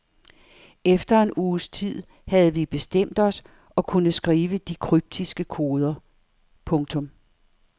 Efter en uges tid havde vi bestemt os og kunne skrive de kryptiske koder. punktum